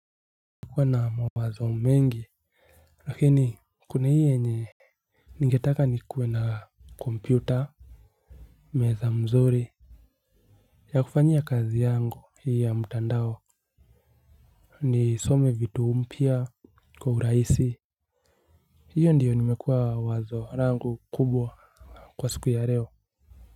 Kuwa na mawazo mengi lakini kuna hii yenye ningetaka nikue na kompyuta. Meza mzuri. Ya kufanyia kazi yangu hii ya mtandao. Nisome vitu mpya kwa urahisi. Hiyo ndiyo nimekuwa wazo langu kubwa kwa siku ya leo.